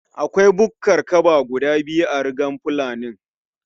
Akwai bukkar kaba guda biyu a rugar fulanin